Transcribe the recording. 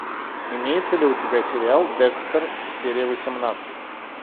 имеется ли у тебя сериал декстер серия восемнадцать